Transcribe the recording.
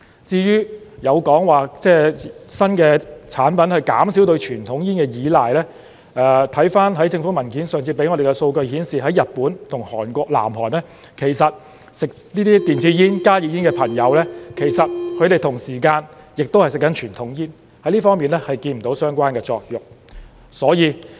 至於有說法指新的產品可以減少對傳統煙的依賴。回看政府文件上次給我們的數據顯示，在日本及韓國，吸食電子煙、加熱煙的朋友同時間亦吸食傳統煙，在這方面看不到相關的作用。